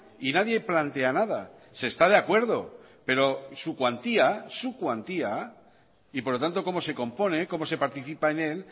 y nadie plantea nada se está de acuerdo pero su cuantía su cuantía y por lo tanto cómo se compone cómo se participa en él